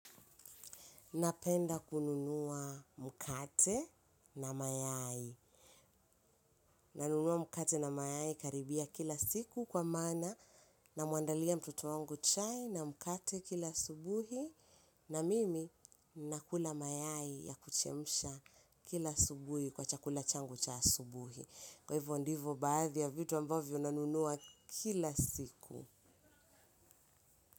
Napenda kununua mkate na mayai. Nanunua mkate na mayai karibia kila siku kwa maana namuandalia mtoto wangu chai na mkate kila asubuhi. Na mimi nakula mayai ya kuchemusha kila asubuhi kwa chakula changu cha asubuhi. Kwa hivyo ndivo baadhi ya vitu ambavyo nanunua kila siku.